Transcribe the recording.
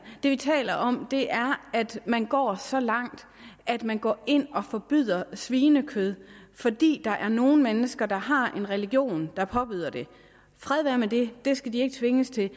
det vi taler om er at man går så langt at man går ind og forbyder svinekød fordi der er nogle mennesker der har en religion der påbyder det fred være med det de skal ikke tvinges til